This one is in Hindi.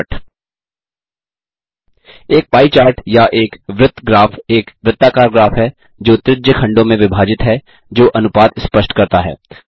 एक पाई चार्ट या एक वृत्त ग्राफ एक वृत्ताकार ग्राफ है जो त्रिज्य खंडों में विभाजित है जो अनुपात स्पष्ट करता है